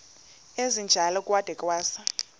esinjalo kwada kwasa